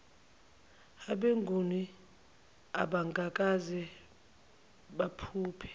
abenguni abangakaze baphuphe